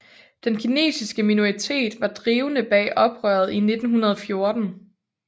Den kinesiske minoritet var drivende bag oprøret i 1914